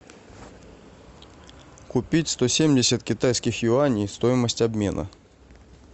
купить сто семьдесят китайских юаней стоимость обмена